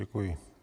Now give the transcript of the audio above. Děkuji.